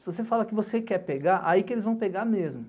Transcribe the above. Se você fala que você quer pegar, aí que eles vão pegar mesmo.